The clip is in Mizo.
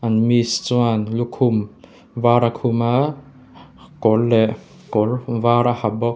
miss chuan lukhum var a khum a kawr leh kawr var a ha bawk.